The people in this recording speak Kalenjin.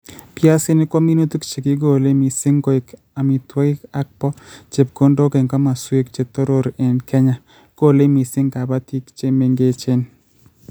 piasinik ko minutik che kigolei mising koek amitwogik and bo chepkondok eng' komoswek che toror eng' Kenya, golei mising kabatik che mengechen